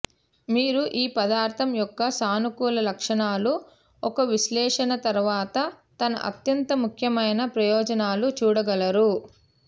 మీరు ఈ పదార్థం యొక్క సానుకూల లక్షణాలు ఒక విశ్లేషణ తర్వాత తన అత్యంత ముఖ్యమైన ప్రయోజనాలు చూడగలరు